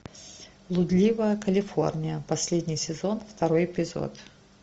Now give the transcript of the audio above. блудливая калифорния последний сезон второй эпизод